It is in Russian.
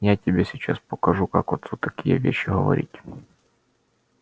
я тебе сейчас покажу как отцу такие вещи говорить